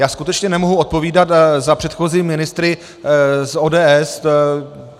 Já skutečně nemohu odpovídat za předchozí ministry z ODS.